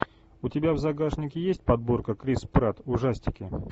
у тебя в загашнике есть подборка крис пратт ужастики